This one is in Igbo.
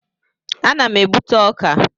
Ana m egbute ọka.